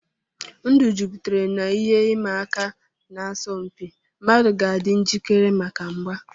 Ndụ jupụtara n'ihe ịma aka na asọmpi; mmadụ ga-adị njikere maka mgba.